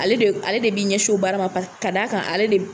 Ale de ale de bɛ ɲɛsin o baara pa ka d'a kan ale de